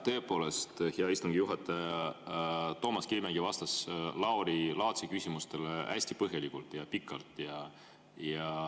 Tõepoolest, hea istungi juhataja, Toomas Kivimägi vastas Lauri Laatsi küsimustele hästi põhjalikult ja pikalt.